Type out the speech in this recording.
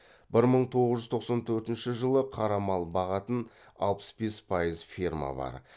бір мың тоғыз жүз тоқсан төртінші жылы қара мал бағатын алпыс бес пайыз ферма бар